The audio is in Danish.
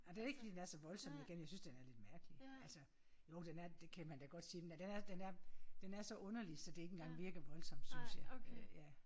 Ej det ikke fordi den er så voldsom igen jeg synes det er lidt mærkelig altså jo den er det kan man da godt sige den er den er den er så underlig så det ikke engang virker voldsomt synes jeg øh ja